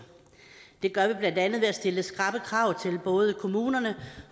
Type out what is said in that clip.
det gør vi blandt andet ved at stille skrappe krav til både kommunerne